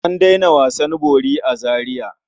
An daina wasan bori a Zariya.